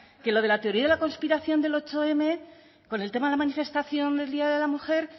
que lo de la teoría de la conspiración del zortzim con el tema de la manifestación del día de la mujer